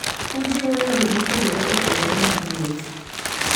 Ojiwo yore mopogore opogore mag wuoth.